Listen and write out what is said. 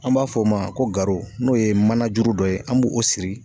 An b'a fɔ o ma ko garo n'o ye manajuru dɔ ye an b'o o siri